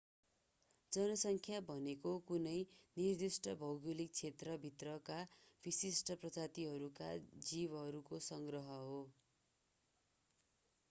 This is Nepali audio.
जनसङ्ख्या भनेको कुनै निर्दिष्ट भौगोलिक क्षेत्र भित्रका विशिष्ट प्रजातिहरूका जीवहरूको संग्रह हो